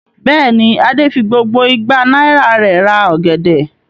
Bẹ́ẹ̀ ni, Adé fi gbogbo igba náírà rẹ̀ ra ọ̀gẹ̀dẹ̀.